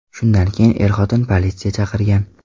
Shundan keyin er-xotin politsiya chaqirgan.